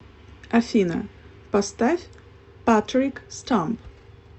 афина поставь патрик стамп